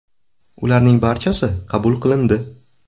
Ularning barchasi qabul qilindi.